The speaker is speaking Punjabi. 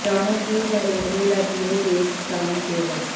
ਜਾਣੋ ਕੀ ਹੈ ਰੇਲਵੇ ਦਾ ਜ਼ੀਰੋ ਬੇਸਡ ਟਾਈਮ ਟੇਬਲ